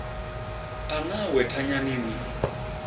a na awe thanyani ni